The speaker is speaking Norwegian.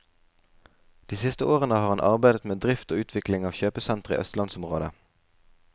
De siste årene har han arbeidet med drift og utvikling av kjøpesentre i østlandsområdet.